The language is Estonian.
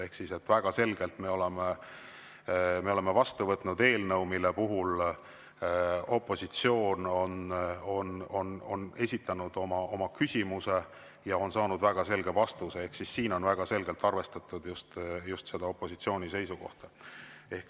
Ehk siis me oleme väga selgelt vastu võtnud eelnõud, mille puhul opositsioon on esitanud oma ja on saanud väga selge vastuse ehk siis on väga selgelt arvestatud just opositsiooni seisukohta.